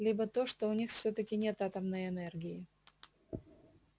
либо то что у них всё-таки нет атомной энергии